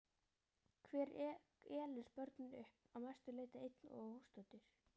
Hver elur börnin upp, að mestu leyti einn og óstuddur?